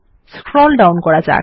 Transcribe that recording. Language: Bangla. স্ক্রল ডাউন করা যাক